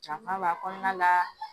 Janfa b'a kɔnɔna la